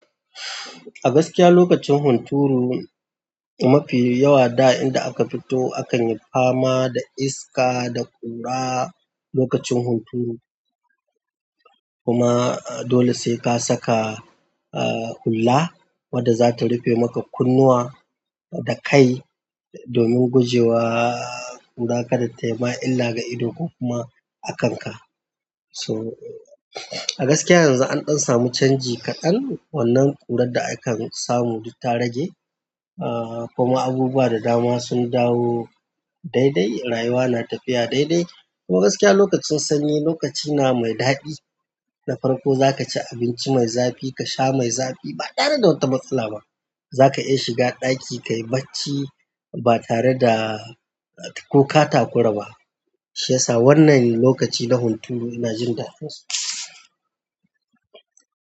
A gaskiya lokacin hunturu mafi yawa da inda aka fito akan yi fama da iska da ƙura lokacin hunturu kuma dole sai ka saka uh hulla wadda zata rufe make kunnuwa da kai domin gujewa ƙura ta maka illa ga ido ko kuma a kanka so a gaskiya yanzu an ɗan samu canji kaɗan wannan ƙurar da akan samu duk ta rage uh kuma abubuwa da dama sun dawo daidai rayuwa na tafiya daidai. Kuma gaskiya lokacin sanyi lokaci na mai daɗi na farko za ka ci abinci mai zafi ka sha mai zafi ba tare da wata matsala ba. Za ka iya shiga ɗaki kayi bacci ba tare da ko ka takura ba. Shi ya sa wannan lokaci na hunturu ina jin daɗinsu.